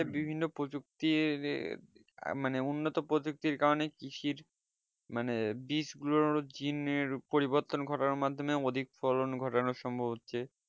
বিভিন্ন প্রযুক্তি আহ মানে উন্নত প্রযুক্তির কারণে কৃষির মানে বীজ গুলির জিনের পরিবর্তন ঘটার মাধ্যমে অধিক ফলন ঘটানো সম্ভব হচ্ছে